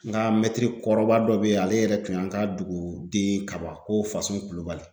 N ka mɛtiri kɔrɔba dɔ bɛ yen ale yɛrɛ tun y'an ka duguden kaba ko Fasun Kulubali